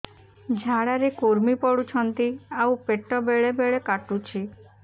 ଝାଡା ରେ କୁର୍ମି ପଡୁଛନ୍ତି ଆଉ ପେଟ ବେଳେ ବେଳେ କାଟୁଛି